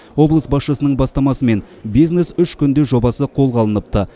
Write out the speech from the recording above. облыс басшысының бастамасымен бизнес үш күнде жобасы қолға алыныпты